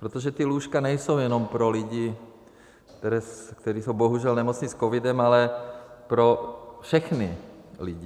Protože ta lůžka nejsou jenom pro lidi, kteří jsou bohužel nemocni s covidem, ale pro všechny lidi.